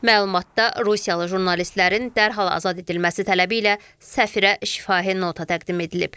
Məlumatda rusiyalı jurnalistlərin dərhal azad edilməsi tələbi ilə səfirə şifahi nota təqdim edilib.